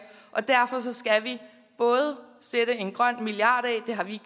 derfor skal vi både sætte en grøn milliard af det har vi